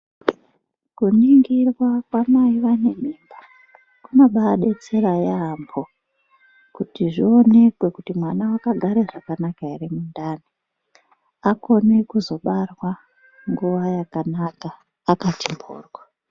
Kuningirwa kwamai vane mimba kunobadetsera yambo kuti zvionekwe kuti mwana akagara zvakanaka here mundani akone kuzobarwa nguwa yakanaka akati mhoryo.